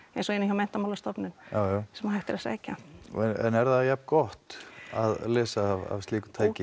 eins og inni hjá Menntamálastofnun jájá sem hægt er að sækja en er það jafn gott að lesa af slíku tæki